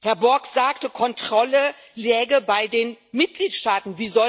Herr Borg sagte, Kontrolle läge bei den Mitgliedstaaten.